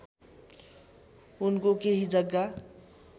उनको केही जग्गा